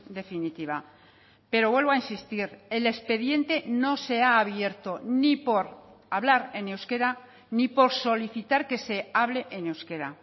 definitiva pero vuelvo a insistir el expediente no se ha abierto ni por hablar en euskera ni por solicitar que se hable en euskera